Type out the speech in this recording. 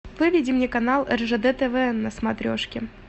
выведи мне канал ржд тв на смотрешке